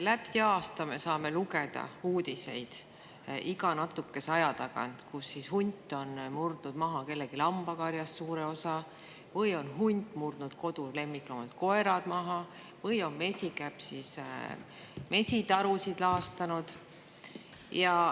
Läbi aasta me saame lugeda iga natukese aja tagant uudiseid, et hunt on murdnud kellegi lambakarjast maha suure osa või on hunt murdnud maha lemmikloomad, kodukoerad või on mesikäpp mesitarusid laastanud.